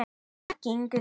Maki, Ingi Þór.